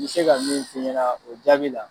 N bi se ka min f'i ɲɛna o jaabi la.